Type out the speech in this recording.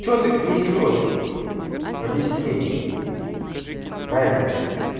что ты несёшь объясни аня